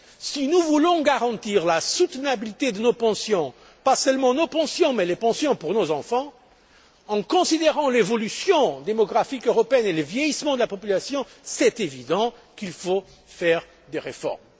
Si nous voulons garantir la soutenabilité de nos pensions, pas seulement nos pensions mais les pensions de nos enfants, compte tenu de l'évolution démographique européenne et du vieillissement de la population, il est manifeste qu'il faut faire des réformes.